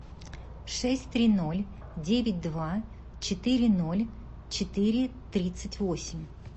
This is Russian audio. шесть три ноль девять два четыре ноль четыре тридцать восемь